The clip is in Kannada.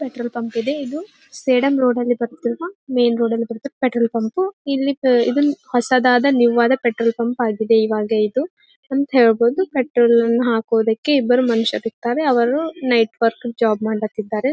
ಪೆಟ್ರೋಲ್ ಪಂಪ್ ಇದೆ ಇದು ಸೇಡಂ ರೋಡ್ ಅಲ್ಲಿ ಬರುತ್ತಿರುವ ಮೇನ್ ರೋಡ್ ಅಲ್ಲಿ ಬರುತ್ತೆ ಪೆಟ್ರೋಲ್ ಪಂಪ್ ಇಲ್ಲಿ ಇದನ್ನ ಹೊಸದಾದ ನ್ಯೂವ ಆದ ಪೆಟ್ರೋಲ್ ಪಂಪ್ ಆಗಿದೆ ಇವಾಗ ಇದು ಅಂತ ಹೇಳಬಹುದು ಪೆಟ್ರೋಲ್ ಹಾಕೋದಕ್ಕೆ ಇಬ್ಬರ್ ಮನಷ್ಯರ್ ಇರತ್ತಾರೆ ಅವರು ನೈಟ್ ವರ್ಕಿಂಗ್ ಜಾಬ್ ಮಾಡ್ಲತ ಇದ್ದಾರೆ .